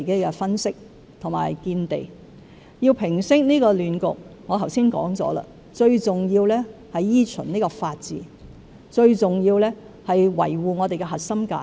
我剛才也指出，想平息這個亂局，最重要是依循法治，最重要是維護我們的核心價值。